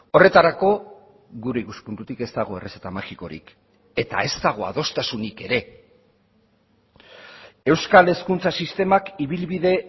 horretarako gure ikuspuntutik ez dago errezeta magikorik eta ez dago adostasunik ere euskal hezkuntza sistemak ibilbide